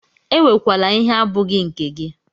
Ewekwala ihe abụghị nke gị!